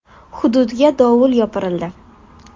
Hududga dovul yopirildi.